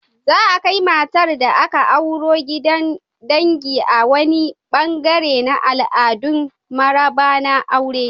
Za'a kai matar da aka auro gidan dangi a wani ɓangare na al'adun maraba na aure.